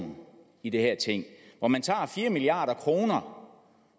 i det her ting hvor man tager fire milliard kroner